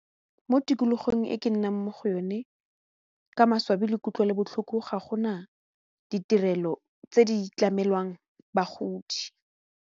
Mo tikologong e ke nnang mo go yone ka maswabi le kutlwelobotlhoko ga gona ditirelo tse di tlamelwang bagodi.